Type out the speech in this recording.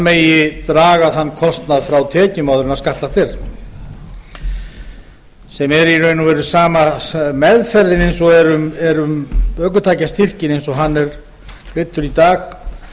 megi draga þann kostnað frá tekjum áður en skattlagt er sem er í rauninni sama meðferðin eins og er um ökutækjastyrkinn eins og hann er greiddur í dag